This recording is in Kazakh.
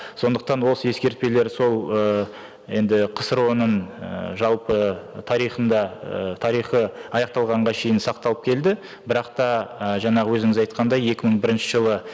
сондықтан осы ескертпелер сол ы енді қсро ның ііі жалпы тарихында і тарихы аяқталғанға шейін сақталып келді бірақ та і жаңағы өзіңіз айтқандай екі мың бірінші жылы